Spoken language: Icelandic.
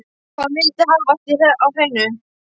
Hann vildi hafa allt á hreinu.